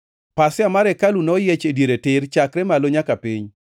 Pasia mar hekalu noyiech e diere tir, chakre malo nyaka piny.